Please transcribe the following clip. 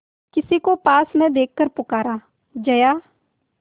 किसी को पास न देखकर पुकारा जया